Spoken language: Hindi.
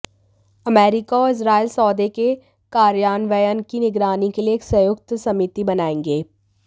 अमेरिका और इजरायल सौदे के कार्यान्वयन की निगरानी के लिए एक संयुक्त समिति बनाएंगे